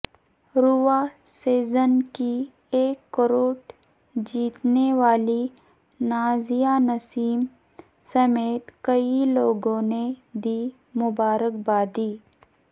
رواں سیزن کی ایک کروڑ جیتنے والی نازیہ نسیم سمیت کئی لوگوں نے دی مبارکباد